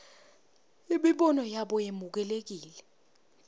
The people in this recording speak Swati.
imibono yabo yemukelekile